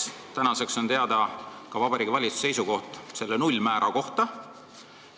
Kas tänaseks on teada Vabariigi Valitsuse seisukoht selle nullmäära osas?